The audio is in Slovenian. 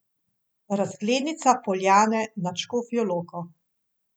Razglednica Poljane nad Škofjo Loko.